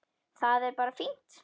Það er bara fínt.